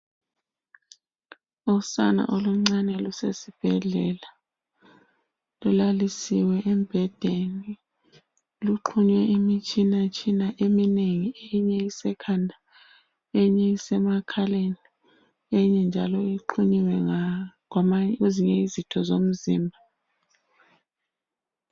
Usana oluncane lusesibhedlela lulalisiwe embhedeni luxhunywe imitshina eminengi. Eminye isekhanda eyinye isemakhaleni eyinye njalo ixhunyiwe kwezinye izitho zomzimba.